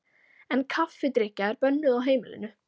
En kaffidrykkja er bönnuð á heimilinu.